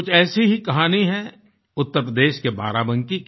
कुछ ऐसी ही कहानी है उत्तर प्रदेश के बाराबंकी की